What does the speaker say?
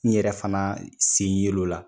N yɛrɛ fana sen ye l'o la.